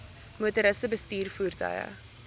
motoriste bestuur voertuie